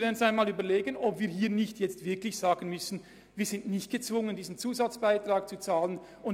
Dies gerade dann, wenn wir die Auffassung vertreten, der Kanton Bern gebe zu viel Geld aus.